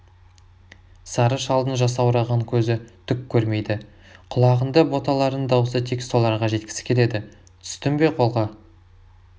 сары шалдың жасаураған көзі түк көрмейді құлағында боталарының дауысы тек соларға жеткісі келеді түстің бе қолға